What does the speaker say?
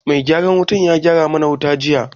Mai gyaran wuta ya gyara mu na wuta juya